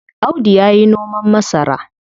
Audu yayi noman masara.